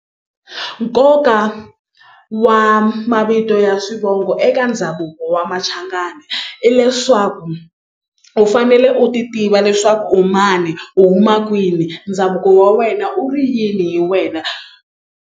Nkoka wa mavito ya swivongo eka ndhavuko wa Machangana i leswaku u fanele u ti tiva leswaku u mani u huma kwini ndhavuko wa wena u ri yini hi wena.